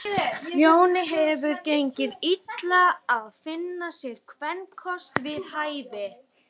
Jóni hafði gengið illa að finna sér kvenkost við hæfi.